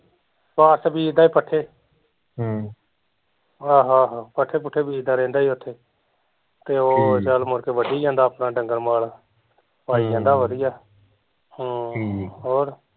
ਕਸ਼ ਬੀਜਦਾ ਸੀ ਪੱਠੇ ਆਹੋ ਆਹੋ ਪੱਠੇ ਪੁੱਠੇ ਬੀਜਦਾ ਰਹਿੰਦਾ ਸੀ ਓਥੇ ਤੇ ਉਹ ਚੱਲ ਮੁੜ ਕੇ ਵੱਢੀ ਜਾਂਦਾ ਆਪਣਾ ਡੰਗਰ ਮਾਲ ਪਾਈ ਜਾਂਦਾ ਵਧੀਆ ਹਮ ਹੋਰ